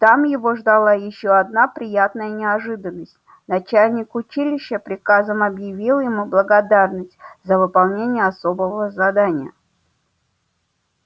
там его ждала ещё одна приятная неожиданность начальник училища приказом объявил ему благодарность за выполнение особого задания